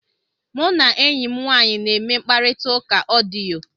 Mụ na enyi m nwaanyị na-eme mkparịta ụka odiyo.